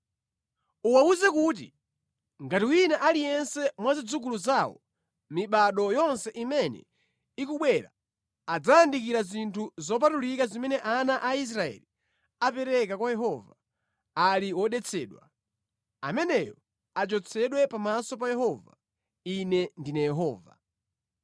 “Uwawuze kuti ngati wina aliyense mwa zidzukulu zawo mʼmibado yonse imene ikubwera adzayandikira zinthu zopatulika zimene ana a Israeli apereka kwa Yehova, ali wodetsedwa, ameneyo achotsedwe pamaso pa Yehova. Ine ndine Yehova.